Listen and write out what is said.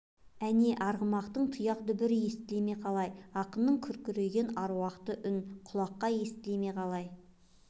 әне арғымақтың тұяқ дүбірі естіле ме қалай ақынның күркіреген аруақты үн құлаққа жете ме қалай